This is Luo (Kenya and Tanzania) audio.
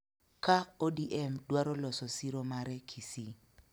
Ka ODM dwaro loso siro mare Kisii